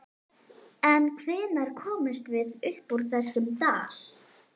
En hvenær komumst við upp úr þessum dal?